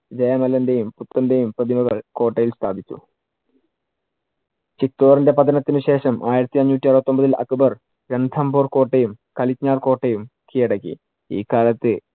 മല്ലന്‍റെയും പുത്രന്‍റെയും പ്രതിമകൾ കോട്ടയിൽ സ്ഥാപിച്ചു. ചിറ്റോറിന്‍റെ പതനത്തിനു ശേഷം ആയിരത്തി അഞ്ഞൂറ്റി അറുപത്തിയൊമ്പതിൽ അക്ബർ രണ്ധംബോര്‍ കോട്ടയും കലികനാർ കോട്ടയും കിഴടക്കി. ഈ കാലത്ത്